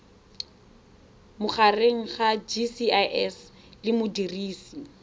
magareng ga gcis le modirisi